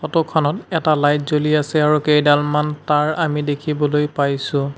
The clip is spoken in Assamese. ফটো খনত এটা লাইট জ্বলি আছে আৰু কেইডালমান তাঁৰ আমি দেখিবলৈ পাইছোঁ।